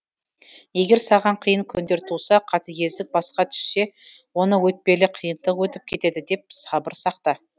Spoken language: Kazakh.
егер саған қиын күндер туса қатыгездік басқа түссе оны өтпелі қиындық өтіп кетеді деп сабыр сақта